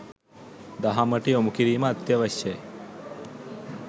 දහමට යොමුකිරීම අත්‍යවශ්‍යය.